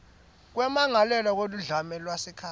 kwemmangalelwa weludlame lwasekhaya